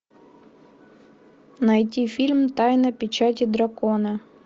найти фильм тайна печати дракона